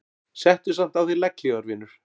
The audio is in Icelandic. Settu samt á þig legghlífar vinur.